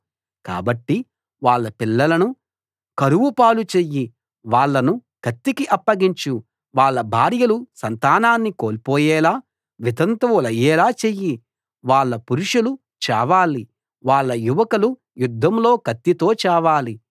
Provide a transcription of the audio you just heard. కాబట్టి వాళ్ళ పిల్లలను కరువుపాలు చెయ్యి వాళ్ళను కత్తికి అప్పగించు వాళ్ళ భార్యలు సంతానాన్ని కోల్పోయేలా వితంతువులయ్యేలా చెయ్యి వాళ్ళ పురుషులు చావాలి వాళ్ళ యువకులు యుద్ధంలో కత్తితో చావాలి